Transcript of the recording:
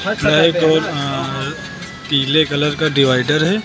Colour अ पीले colour का डिवाइडर हैं।